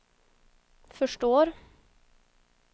förstår